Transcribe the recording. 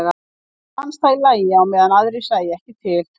Og fannst það í lagi á meðan aðrir sæju ekki til.